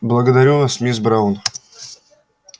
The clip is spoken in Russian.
благодарю вас мисс браун